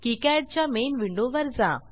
KiCad च्या main विंडोवर जा